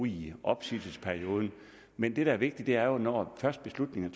i opsigelsesperioden men det der er vigtigt er jo når først beslutningen